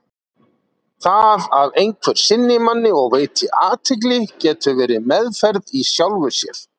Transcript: Það að einhver sinni manni og veiti athygli getur verið meðferð í sjálfu sér.